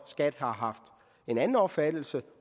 skat har haft en anden opfattelse af